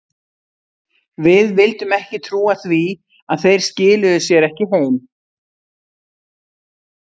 Við vildum ekki trúa því að þeir skiluðu sér ekki heim.